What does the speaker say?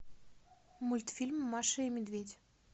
мультфильм маша и медведь